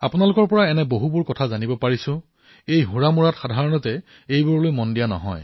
আপোনালোকৰ কথাসমূহত এনে কিছুমান বিষয় জানিবলৈ পোৱা যায় যিবোৰত সাধাৰণতে লক্ষ্য কৰা নাযায়